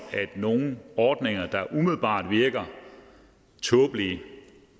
at nogle ordninger der umiddelbart virker tåbelige